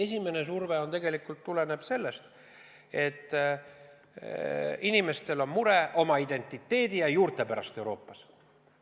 See tegelikult tuleneb ühelt poolt sellest, et inimestel on mure oma identiteedi ja juurte pärast Euroopas.